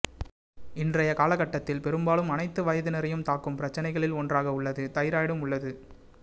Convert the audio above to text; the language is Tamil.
இன்றைய காலகட்டத்தில் பெரும்பாலும் அனைத்து வயதினரையும் தாக்கும் பிரச்சனைகளில் ஒன்றாக உள்ளது தைராய்டும் உள்ளது